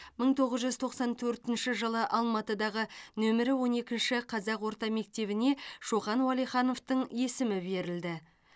мың тоғыз жүз тоқсан төртінші жылы алматыдағы нөмірі он екінші қазақ орта мектебіне шоқан уәлихановтың есімі берілді